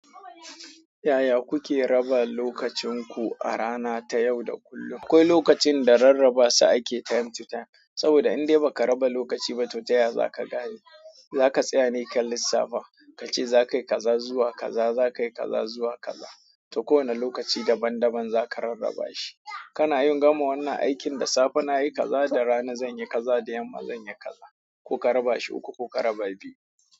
Yaya kuke raba lokacin ku a rana ta yau da kullum? Akwai lokacin da rarrabasa ake ta yin time to time, saboda in dai ba ka raba lokaci ba, to taya za ka gane? Za ka tsaya ne kan lissafa, ka ce za ka yi kaza zuwa kaza, za ka yi kaza zuwa kaza, to kowane lokaci daban-daban za ka rarraba shi. Kana yin gama wannan aikin da safe na yi kaza, da rana zan yi kaza, da yamma zan yi kaza. Ku ka raba shi ko ku ka raba biyu?